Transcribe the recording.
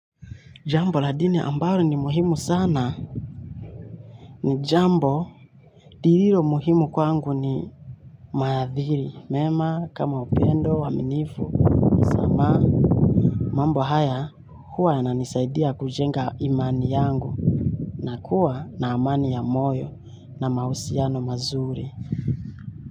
Jambo la jina ambalo ni muhimu sana ni jambo lirilo muhimu kwangu ni maadhiri, mema, kama upendo, waminifu, ama mambo haya huwa yananisaidia kujenga imani yangu na kuwa na amani ya moyo na mahusiano mazuri.